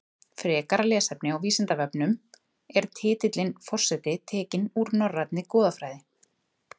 Frekara lesefni á Vísindavefnum Er titillinn forseti tekinn úr norrænni goðafræði?